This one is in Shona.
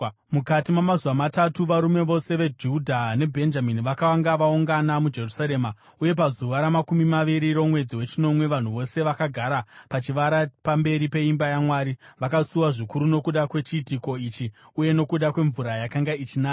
Mukati mamazuva matatu, varume vose veJudha neBhenjamini vakanga vaungana muJerusarema. Uye pazuva ramakumi maviri romwedzi wechinomwe, vanhu vose vakagara pachivara pamberi peimba yaMwari, vakasuwa zvikuru nokuda kwechiitiko ichi uye nokuda kwemvura yakanga ichinaya.